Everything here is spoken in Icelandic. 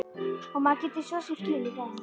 Og maður getur svo sem skilið það.